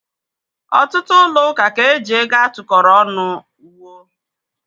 Ọtụtụ ụlọ ụka ka eji ego a tụkọọrọ ọnụ wuo.